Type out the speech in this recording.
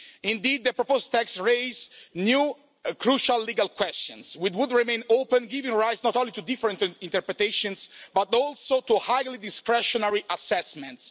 Indeed the proposed text raises new, crucial legal questions, which would remain open, giving rise not only to different interpretations but also to highly discretionary assessments.